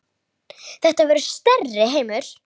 Þetta verður stærri heimur.